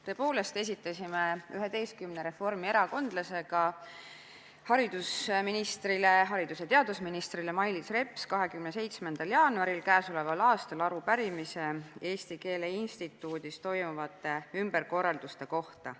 Tõepoolest esitasime 11 reformierakondlasega haridus- ja teadusminister Mailis Repsile 27. jaanuaril k.a arupärimise Eesti Keele Instituudis toimuvate ümberkorralduste kohta.